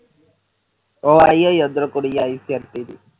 ਉਹ ਆਈ ਹੋਈ ਕੁੜੀ ਐਵੇ ਫਿਰਦੀ ਵੀ